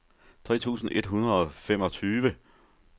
tre tusind et hundrede og femogtyve